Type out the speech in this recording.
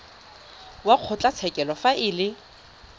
wa kgotlatshekelo fa e le